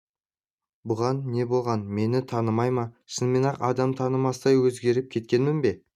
бұған не болған мені танымай ма шынымен-ақ адам танымастай өзгеріп кеткемін бе